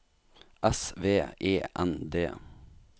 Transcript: S V E N D